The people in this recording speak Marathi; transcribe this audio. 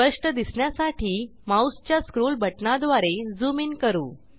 स्पष्ट दिसण्यासाठी माऊसच्या स्क्रोल बटणाद्वारे झूम इन करू